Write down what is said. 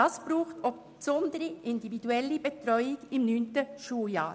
Dazu braucht es besondere individuelle Betreuung im neunten Schuljahr.